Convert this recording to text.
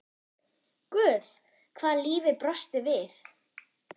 Guð hvað lífið brosti við.